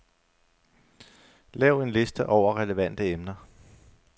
Lav en liste over relevante emner.